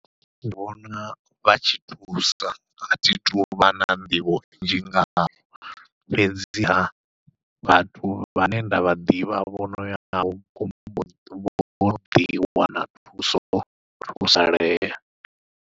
Ndi vhona vha tshi thusa athi tuvha na nḓivho nnzhi ngaho, fhedziha vhathu vhane nda vha ḓivha vho noya vho vho vho ḓi wana thuso vho thusalea.